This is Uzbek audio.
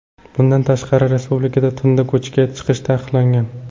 Bundan tashqari, respublikada tunda ko‘chaga chiqish taqiqlangan .